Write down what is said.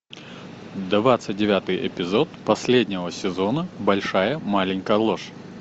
двадцать девятый эпизод последнего сезона большая маленькая ложь